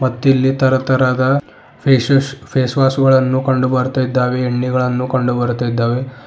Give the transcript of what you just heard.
ಮತ್ತು ಇಲ್ಲಿ ತರತರಹದ ಫೇಶಸ್ ಫೇಸ್ ವಾಶ್ ಗಳನ್ನು ಕಂಡು ಬರ್ತಾ ಇದ್ದಾವೆ ಎಣ್ಣಿಗಳನ್ನು ಕಂಡು ಬರ್ತಾ ಇದ್ದಾವೆ.